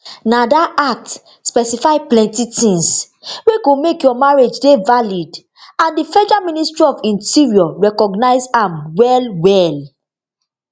na dat act specify plenti tins wey go make your marriage dey valid and di federal ministry of interior recognise am well well